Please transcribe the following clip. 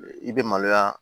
I bɛ maloya